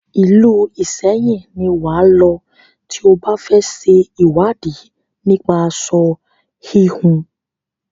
Ìlú Ìṣẹyìn ni wà á lọ tí o bá fẹ ṣe ìwádìí nípa aṣo híhun.